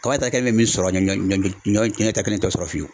Kaba taari kelen bɛ min sɔrɔ ɲɔ ɲɔ kelen tɛ o sɔrɔ fiyewu.